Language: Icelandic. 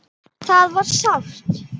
Það var sárt.